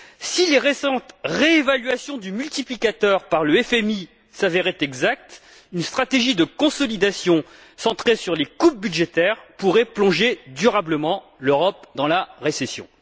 Si les récentes réévaluations du multiplicateur, par le FMI, s'avéraient exactes, une stratégie de consolidation centrée sur les coupes budgétaires pourrait plonger durablement l'Europe dans la récession.